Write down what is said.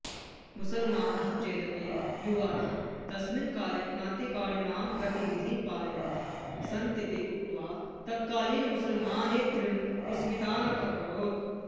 मुसल्मानाः चेदपि युवानः तस्मिन् काले क्रान्तिकारिणां गतिविधीन् पालयन्तः सन्तीति उक्त्वा तत्कालीन मुसल्मानेतृन् विस्मितान् अकरोत्